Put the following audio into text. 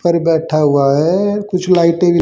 पर बैठा हुआ है कुछ लाइटें भी--